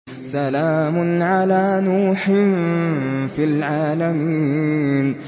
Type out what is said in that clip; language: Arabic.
سَلَامٌ عَلَىٰ نُوحٍ فِي الْعَالَمِينَ